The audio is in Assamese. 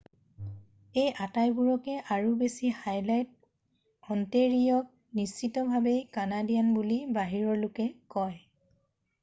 এই আটাইবোৰকে আৰু বেছি হাইলাইট অণ্টেৰিঅ'ক নিশ্চিতভাৱেই কানাডিয়ান বুলি বাহিৰৰ লোকে কয়